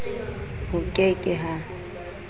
ho ke ke h a